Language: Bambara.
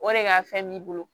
O de ka fɛn b'i bolo